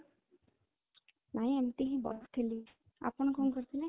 ନାଇଁ, ଏମିତି ହି ବସିଥିଲି, ଆପଣ କଣ କରୁଥିଲେ?